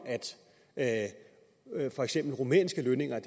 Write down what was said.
at for eksempel rumænske lønninger er